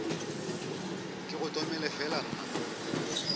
ke go tomele fela nna